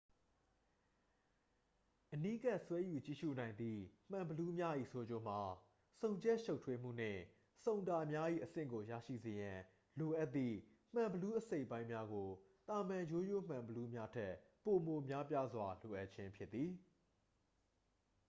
အနီးကပ် ဆွဲယူကြည့်ရူနိုင်သည့် မှန်ဘီလူးများ၏ ဆိုးကျိုးမှာ ဆုံချက်ရှုပ်ထွေးမှုနှင့် ဆုံတာများ၏ အဆင့်ကို ရရှိစေရန် လိုအပ်သည့် မှန်ဘီလူးအစိတ်အပိုင်းများကို သာမန်ရိုးရိုးမှန်ဘီလူးများထက် ပိုမိုများပြားစွာ လိုအပ်ခြင်းဖြစ်သည်